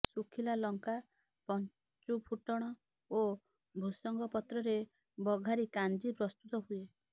ସୁଖିଲା ଲଙ୍କା ପଞ୍ଚୁଫୁଟଣ ଓ ଭୃସଙ୍ଗପତ୍ରରେ ବଘାରି କାଞ୍ଜି ପ୍ରସ୍ତୁତ ହୁଏ